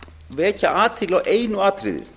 vekja athygli á einu atriði